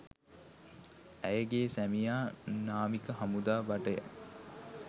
ඇයගේ සැමියා නාවික හමුදා භටය